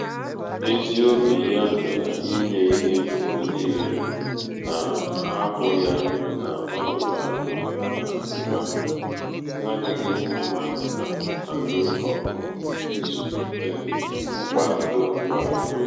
ezi obi ya na inye ihe mgbe niile um na-ahapụ ya n’ọnọdụ akụ na ụba um na-adịghị mma na-alụ ọgụ um izute mkpa ndụ kwa ụbọchị.